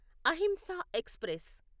Ahimsa express